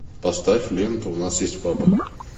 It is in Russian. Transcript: поставь ленту у нас есть папа